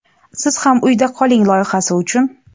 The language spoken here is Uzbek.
siz ham uyda qoling loyihasi uchun.